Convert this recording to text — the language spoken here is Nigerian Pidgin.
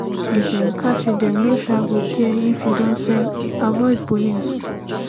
if dem catch you dem no um go care if you don sell avoid police